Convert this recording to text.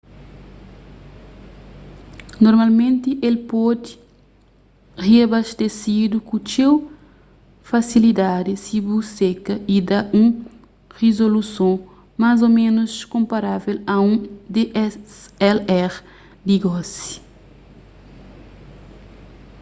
normalmenti el pode riabastesidu ku txeu fasilidadi si bu seka y da un rizoluson más ô ménus konparável a un dslr di gosi